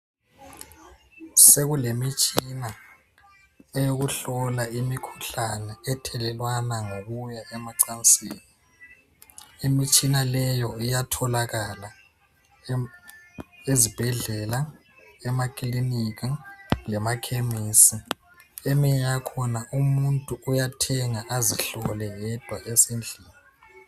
Sekulemitshina eyokuhlola imikhuhlane ethelelwana ngokuya emacansini. Imitshina leyo iyatholakala ezibhedlela, emakilinika lemakhemesi. Eminye yakhona umuntu uyathenga azihlole yedwa esendlini.